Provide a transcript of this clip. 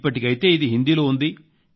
ఇప్పటికైతే ఇది హిందీలో ఉంది